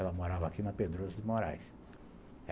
Ela morava aqui na Pedroso de Moraes.